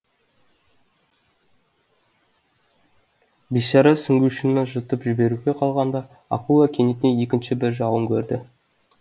бишара сүңгушіні жұтып жіберуге қалғанда акула кенеттен екінші бір жауын көрді